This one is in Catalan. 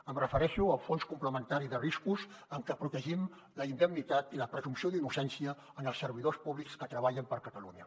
em refereixo al fons complementari de riscos amb què protegim la indemnitat i la presumpció d’innocència dels servidors públics que treballen per a catalunya